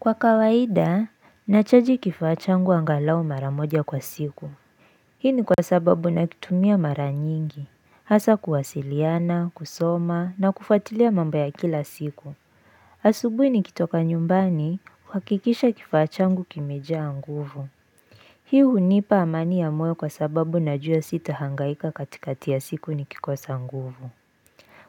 Kwa kawaida, nachaji kifaa changu angalau mara moja kwa siku. Hii ni kwa sababu nakitumia mara nyingi. Hasa kuwasiliana, kusoma, na kufuatilia mambo ya kila siku. Asubuhi nikitoka nyumbani, huhakikisha kifaa changu kimejaa nguvu. Hii hunipa amani ya mweo kwa sababu najua sita hangaika katikati ya siku nikikosa nguvu.